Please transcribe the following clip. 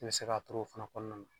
I bɛ se k'a turu o fana kɔnɔna na.